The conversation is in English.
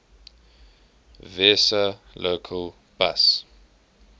vesa local bus